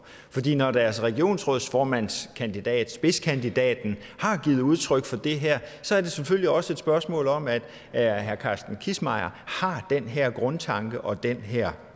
når deres regionsrådsformandskandidat spidskandidaten har givet udtryk for det her så er det selvfølgelig også et spørgsmål om at at herre carsten kissmeyer har den her grundtanke og den her